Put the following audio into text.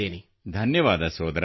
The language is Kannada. ಧನ್ಯವಾದ ಸೋದರಾ